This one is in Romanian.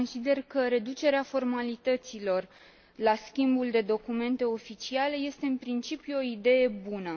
Consider că reducerea formalităților la schimbul de documente oficiale este în principiu o idee bună.